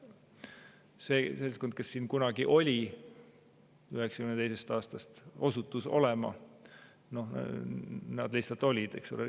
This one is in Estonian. See seltskond, kes siin 1992. aastal osutus olema – nad lihtsalt olid, eks ole.